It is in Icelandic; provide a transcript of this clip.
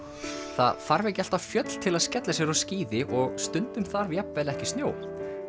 það þarf ekki alltaf fjöll til að skella sér á skíði og stundum þarf jafnvel ekki snjó